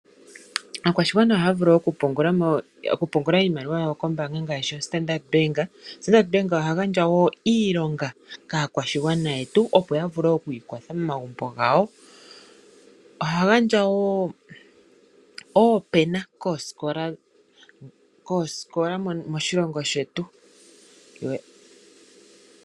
Aakwashigwana ohaya vulu okupungula iimaliwa yawo kombaanga ngaashi koStandard Bank. Standard Bank oha gandja wo iilonga kaakwashigwana yetu, opo ya vule oku ikwatha momagumbo gawo. Oha gandja wo oopena koosikola moshilongo shetu.